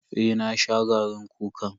Eh na sha garin kukan.